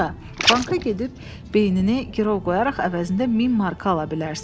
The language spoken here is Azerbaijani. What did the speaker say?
banka gedib beynini girov qoyaraq əvəzində 1000 marka ala bilərsən.